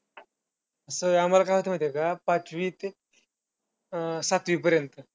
असं व्हयं हे बघ आम्हांला काय होत माहितीये का पाचवी ते अं सातवीपर्यंत.